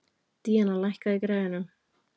Díana, lækkaðu í græjunum.